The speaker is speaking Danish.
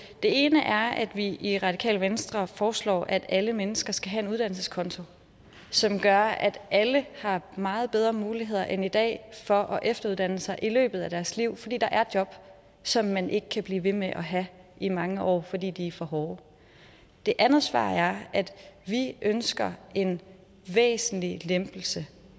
det ene er at vi i radikale venstre foreslår at alle mennesker skal have en uddannelseskonto som gør at alle har meget bedre muligheder end i dag for at efteruddanne sig i løbet af deres liv fordi der er job som man ikke kan blive ved med at have i mange år fordi de er for hårde det andet svar er at vi ønsker en væsentlig lempelse